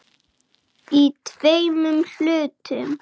Við söknum og elskum þig.